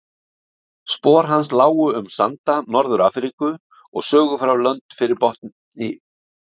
Spor hans lágu um sanda Norður-Afríku og sögufræg lönd fyrir botni